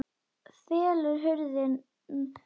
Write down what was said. Fellur hurðin stafnum að.